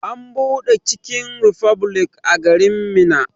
An buɗe chicken republic a garin Minna.